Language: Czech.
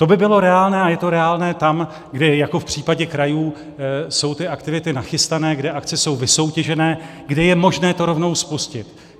To by bylo reálné a je to reálné tam, kde jako v případě krajů jsou ty aktivity nachystané, kde akce jsou vysoutěžené, kde je možné to rovnou spustit.